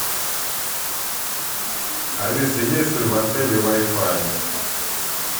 алиса есть ли в отеле вайфай